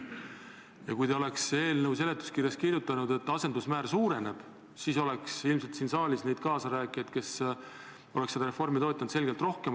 Ja kui te oleksite eelnõu seletuskirjas kirjutanud, et asendusmäär suureneb, siis ilmselt oleks siin saalis neid kaasarääkijaid, kes seda reformi toetaksid, selgelt rohkem.